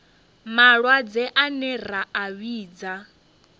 malwadze ane ra a vhidza